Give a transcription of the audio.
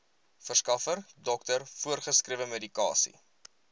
verskaffer dokter voorgeskrewemedikasie